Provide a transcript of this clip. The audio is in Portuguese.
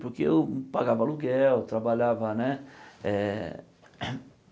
Porque eu pagava aluguel, trabalhava, né? Eh